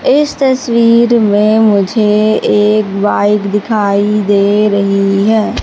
इस तस्वीर में मुझे एक बाइक दिखाई दे रही है।